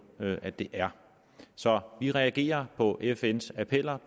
at det er så vi reagerer på fns appeller